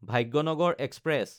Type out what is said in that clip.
Bhagyanagar express